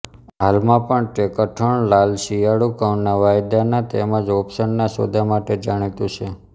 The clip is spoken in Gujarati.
હાલમાં પણ તે કઠણ લાલ શિયાળુ ઘઉંના વાયદાના તેમજ ઓપ્શનના સોદા માટે જાણીતું છે